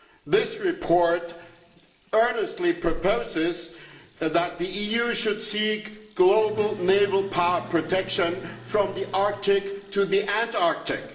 This report earnestly proposes that the EU should seek global naval power protection from the Arctic to the Antarctic.